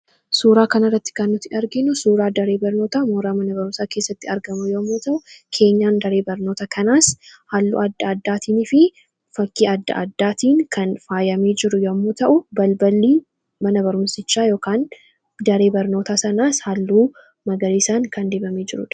Suuraa kana irratti kan nuti argiinu suuraa daree barnoota mooraa mana barumsaa keessatti argamu yommuu ta'u keenyan daree barnoota kanaas halluu adda addaatiin fi fakkii adda addaatiin kan faayamanii jiru yommoo ta'u balbalii manabarumsichaa yookiin daree barnoota sanaas halluu magariisaan kan dibamee jirudha.